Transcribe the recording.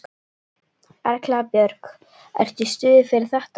Erla Björg: Ertu í stuði fyrir þetta?